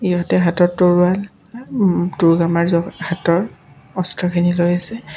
সিহঁতে হাতত তৰোৱাল উম দুৰ্গা মাৰ য হাতৰ অস্ত্ৰখিনি লৈ আছে।